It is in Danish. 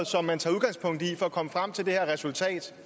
som man tager udgangspunkt i for at komme frem til det her resultat